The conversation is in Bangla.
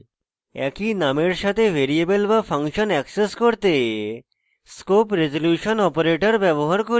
একই নামের সাথে ভ্যারিয়েবল to ফাংশন অ্যাক্সেস করতে scope রেজল্যুশন operator:: ব্যবহার করি